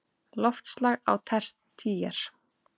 Loftslag á tertíer